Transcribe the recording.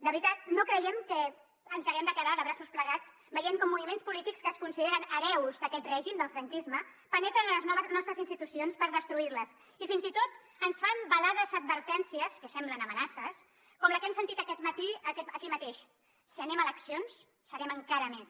de veritat no creiem que ens haguem de quedar de braços plegats veient com moviments polítics que es consideren hereus d’aquest règim del franquisme penetren en les nostres institucions per destruir les i fins i tot ens fan velades advertències que semblen amenaces com la que hem sentit aquest matí aquí mateix si anem a eleccions serem encara més